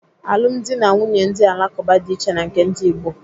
Alụm dị na nwunye ndị Alakụba dị iche na nke ndi Igbo.